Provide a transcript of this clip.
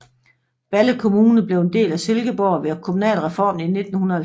Balle Kommune blev en del af Silkeborg ved kommunalreformen i 1970